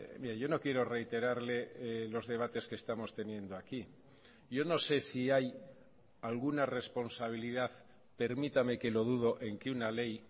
mire yo no quiero reiterarle los debates que estamos teniendo aquí yo no sé si hay alguna responsabilidad permítame que lo dudo en que una ley